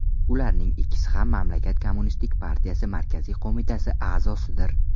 Ularning ikkisi ham mamlakat kommunistik partiyasi markaziy qo‘mitasi a’zosidir.